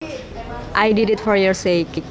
I did it for your sake